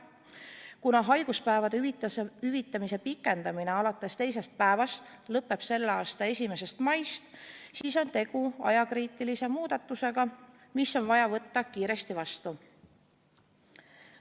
Kuna haiguspäevade hüvitamise pikendamine alates teisest päevast lõpeb selle aasta 1. mail, siis on tegu ajakriitilise muudatusega, mis on vaja võtta kiiresti vastu.